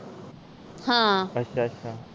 ਹਾਂ